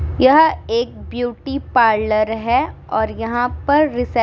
यह एक beauty parlour हैं और यहाँ पर रिसेप --